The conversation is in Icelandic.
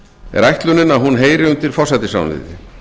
er ætlunin að hún heyri undir forsætisráðuneytið